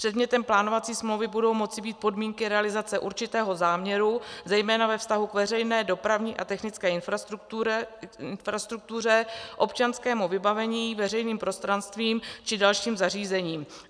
Předmětem plánovací smlouvy budou moci být podmínky realizace určitého záměru zejména ve vztahu k veřejné dopravní a technické infrastruktuře, občanskému vybavení, veřejným prostranstvím či dalším zařízením.